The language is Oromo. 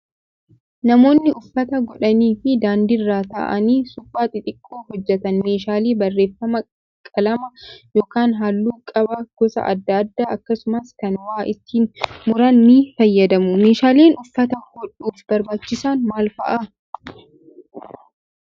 Namoonni uffata godhanii fi daandiirra ta'anii suphaa xixiqqoo hojjatan meeshaalee barreeffamaa qalama yookaan halluu qaba gosa adda addaa akkasumas kan waa ittiin muran ni fayyadamu. Meeshaaleen uffata hodhuuf barbaachisan maal fa'aa?